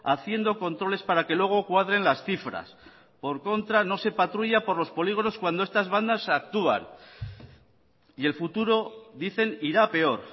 haciendo controles para que luego cuadren las cifras por contra no se patrulla por los polígonos cuando estas bandas actúan y el futuro dicen irá a peor